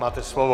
Máte slovo.